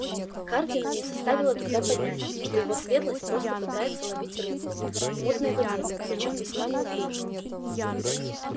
хардину не составило труда понять что его светлость просто пытается ловить рыбку в мутной воде причём весьма неуклюже